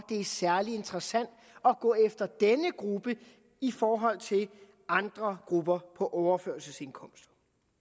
det er særlig interessant at gå efter denne gruppe i forhold til andre grupper på overførselsindkomster